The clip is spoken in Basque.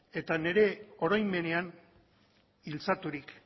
eta nire oroimenean iltzaturik